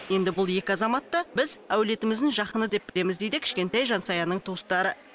енді бұл екі азамат та біз әулетіміздің жақыны деп білеміз дейді кішкентай жансаяның туыстары